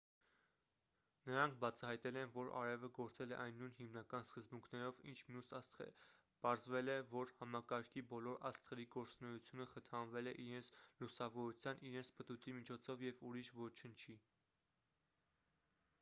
նրանք բացահայտել են որ արևը գործել է այն նույն հիմնական սկզբունքներով ինչ մյուս աստղերը պարզվել է որ համակարգի բոլոր աստղերի գործունեությունը խթանվել է իրենց լուսավորության իրենց պտույտի միջոցով և ուրիշ ոչնչի